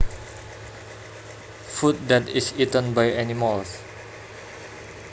Food that is eaten by animals